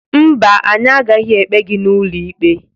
Mba, anyị agaghị ekpe gị n'ụlọikpe.